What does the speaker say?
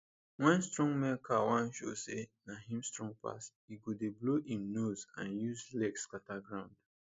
wen strong male cow wan show say na him strong pass e go dey blow im nose and use leg scatter ground